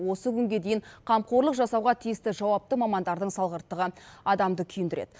осы күнге дейін қамқорлық жасауға тиісті жауапты мамандардың салғырттығы адамды күйіндіреді